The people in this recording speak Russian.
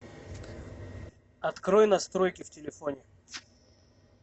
открой настройки в телефоне